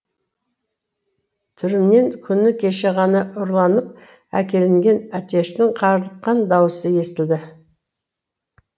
түрімнен күні кеше ғана ұрланып әкелінген әтештің қарлыққан даусы естілді